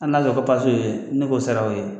An nalen ko pase o ye ne k'o sara o ye